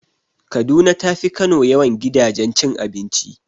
Kaduna tafi Kano yawan gidajen cin abinci.